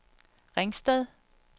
Ringsted